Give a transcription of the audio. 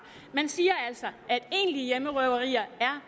man siger altså at egentlige hjemmerøverier er